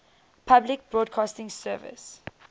public broadcasting service